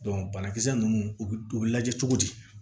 banakisɛ ninnu u bɛ u bɛ lajɛ cogo di